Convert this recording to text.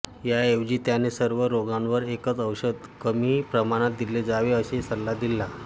याऐवजी त्याने सर्व रोगांवर एकच औषध कमी प्रमाणात दिले जावे असा सल्ला दिला